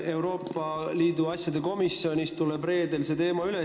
Euroopa Liidu asjade komisjonis tuleb reedel see teema arutusele.